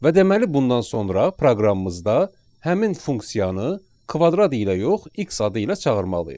Və deməli, bundan sonra proqramımızda həmin funksiyanı kvadrat ilə yox, x adı ilə çağırmalıyıq.